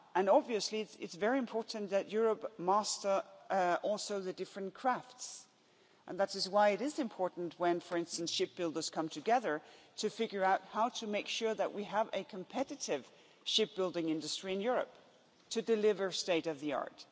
Obviously it's very important that Europe master the different crafts and that is why it is important when, for instance, shipbuilders come together to figure out how to make sure that we have a competitive shipbuilding industry in Europe to deliver state of the art.